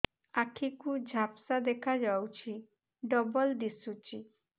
ଆଖି କୁ ଝାପ୍ସା ଦେଖାଯାଉଛି ଡବଳ ଦିଶୁଚି